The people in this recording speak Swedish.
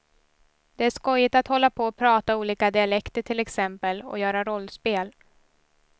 Det är skojigt att hålla på och prata olika dialekter till exempel, och göra rollspel.